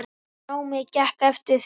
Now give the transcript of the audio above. Námið gekk eftir því.